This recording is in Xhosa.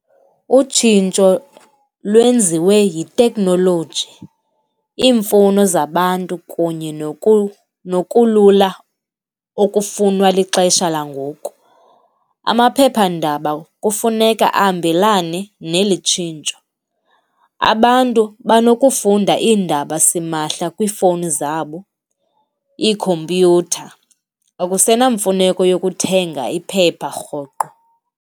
Utshintsho lwenziwe yiteknoloji, iimfuno zabantu kunye nokulula okufunwa lixesha langoku. Amaphephandaba kufuneka ahambelane neli tshintsho. Abantu banokufunda iindaba simahla kwiifowuni zabo, ikhompyutha, akusena mfuneko yokuthenga iphepha rhoqo.